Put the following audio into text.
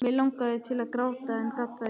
Mig langaði til að gráta en gat það ekki.